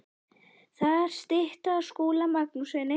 Þar er stytta af Skúla Magnússyni.